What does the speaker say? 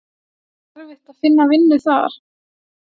Er ekki erfitt að finna vinnu þar?